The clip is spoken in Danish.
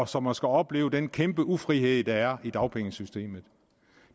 som at skulle opleve den kæmpe ufrihed der er i dagpengesystemet